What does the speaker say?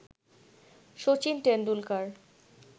Sachin Tendulkar